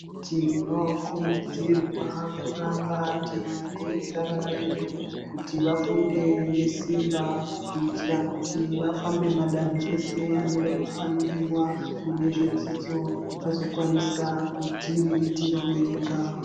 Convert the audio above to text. Tinokurudzirwa kuramba teikurudzira vana vedu kuti vafunde ngesimba. Kuitira kuti vafambe madanho ese anoda kufambiwa mune zvedzidzo, vazokwanisa kudziriritira vega.